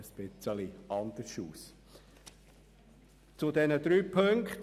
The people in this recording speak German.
Das sähe dann ein bisschen anders aus.